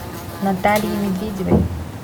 наталье медведевой